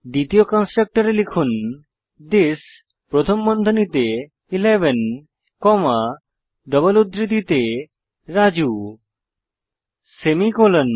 দ্বিতীয় কন্সট্রকটরে লিখুন থিস প্রথম বন্ধনীতে 11 কমা ডাবল উদ্ধৃতির মধ্যে রাজু সেমিকোলন